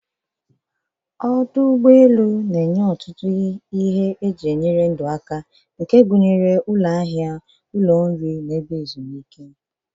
Ọdụ ụgbọ elu na-enye ọtụtụ ihe eji enyere ndụ aka, gụnyere ụlọ ahịa, ụlọ nri, na ebe ezumike.